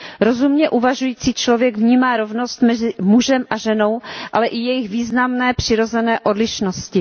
Rozumně uvažující člověk vnímá rovnost mezi mužem a ženou, ale i jejich významné přirozené odlišnosti.